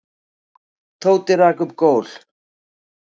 Tóti rak upp gól.